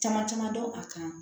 Caman caman dɔn a kan